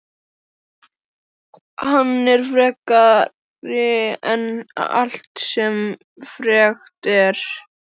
Hann er frekari en allt sem frekt er.